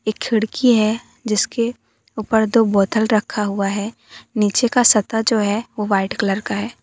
एक खिड़की है जिसके ऊपर दो बोतल रखा हुआ है नीचे का सत्ता जो है वो वाइट कलर का है।